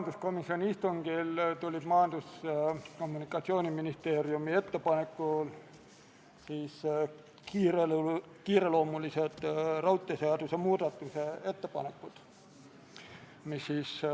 Riigikaitsekomisjon tegi eelnõus ühe normitehnilise täpsustuse ja see täpsustus viis eelnõu teksti kooskõlla riigikaitseseaduse §-ga 34.